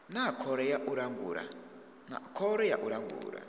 na khoro ya u langula